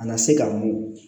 A na se ka mɔ